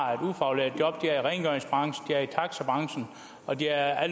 har et ufaglært job i rengøringsbranchen de er i taxabranchen og de er